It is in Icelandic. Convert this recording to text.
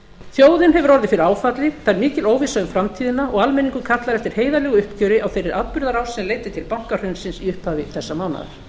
þjóðin hefur orðið fyrir áfalli það er mikil óvissa um framtíðina og almenningur kallar eftir heiðarlegu uppgjöri á þeirri atburðarás sem leiddi til bankahrunsins í upphafi þessa mánaðar